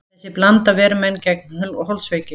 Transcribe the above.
Þessi blanda ver menn gegn holdsveiki.